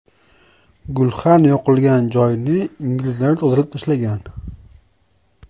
Gulxan yoqilgan joyni inglizlar tozalab tashlagan.